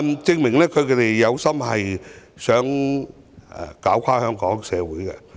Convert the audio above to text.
證明反對派有心拖垮香港社會。